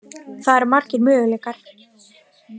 Það eru margir möguleikar.